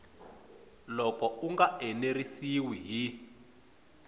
loko u nga enerisiwi hi